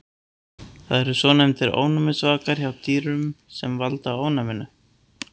Það eru svonefndir ofnæmisvakar frá dýrunum sem valda ofnæminu.